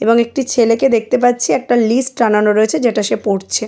এবং একটি ছেলেকে দেখতে পাচ্ছি একটা লিস্ট টানানো রয়েছে যেটা সে পড়ছে।